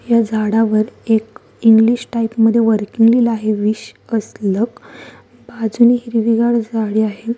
या झाडावर एक इंग्लिश टाइप मधे वर्किंग लिहल आहे विश अस लक बाजूनी हिरविगार झाडे आहे.